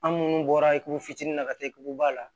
An munnu bɔra ikuru fitinin na ka taa kugu ba la